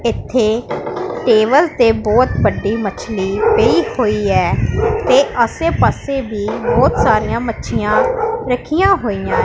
ਇੱਥੇ ਟੇਬਲ ਤੇ ਬਹੁਤ ਵੱਡੀ ਮਛਲੀ ਪਈ ਹੋਈ ਐ ਤੇ ਆਸੇ ਪਾਸੇ ਵੀ ਬਹੁਤ ਸਾਰੀਆਂ ਮੱਛੀਆਂ ਰੱਖੀਆਂ ਹੋਈਆਂ --